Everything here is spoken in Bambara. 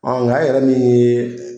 Nga e yɛrɛ min ye.